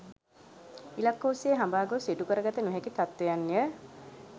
ඉලක්ක ඔස්සේ හඹා ගොස් ඉටු කරගත නොහැකි තත්ත්වයන්ය.